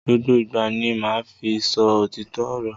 Gbogbo ìgbà ni ma fi sọ òtítọ ọrọ.